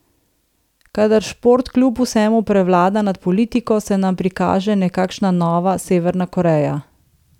Kadar šport kljub vsemu prevlada nad politiko, se nam prikaže nekakšna nova Severna Koreja.